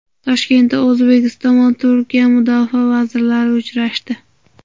Toshkentda O‘zbekiston va Turkiya Mudofaa vazirlari uchrashdi.